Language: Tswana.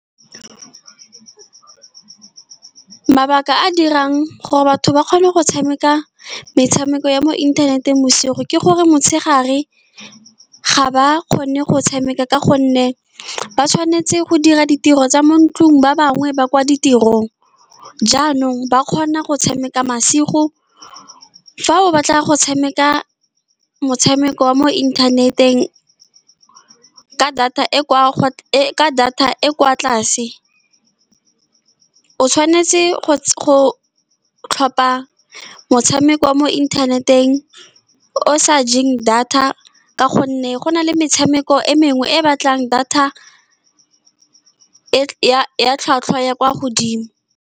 Mabaka a a dirang gore batho ba kgone go tshameka metshameko ya mo inthaneteng bosigo ke gore motshegare ga ba kgone go tshameka, ka gonne ba tshwanetse go dira ditiro tsa mo ntlong, ba bangwe ba kwa ditirong. Jaanong ba kgona go tshameka masigo. Fa o batla go tshameka motshameko wa mo inthaneteng ka data e e kwa , e ka data e e kwa tlase, o tshwanetse go-go tlhopha motshameko mo internet-eng o o sa jeng data, ka gonne go na le metshameko e mengwe e e batlang data e ya tlhwatlhwa ya kwa godimo.